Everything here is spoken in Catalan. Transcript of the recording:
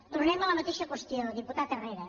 tornem a la mateixa qüestió diputat herrera